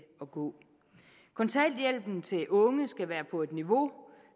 at gå kontanthjælpen til unge skal være på et niveau